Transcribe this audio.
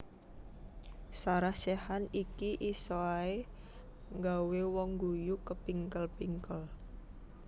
Sarah Sechan iki isok ae nggawe wong ngguyu kepingkel pingkel